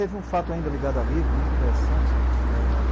Teve um fato ainda ligado ao livro, muito interessante.